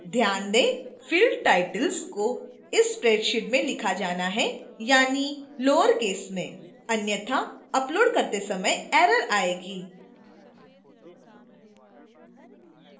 ध्यान दें कि field titles को इस spreadsheet में लिखा जाना है यानी lowercase में